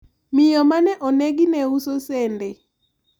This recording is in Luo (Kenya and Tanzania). miyo mane onegi ne uso sende